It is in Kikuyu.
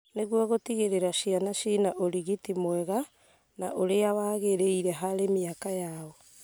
nĩguo gũtigĩrĩra ciana ciĩna ũrigiti mwega na ũrĩa waagĩrĩire harĩ mĩaka yao.